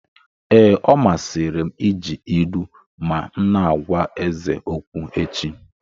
Ee, ọ masịrị m iji ilu ma m na-agwa eze okwu echi.